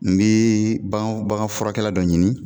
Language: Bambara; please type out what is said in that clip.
N bɛ bagan bagan furakɛla dɔ ɲini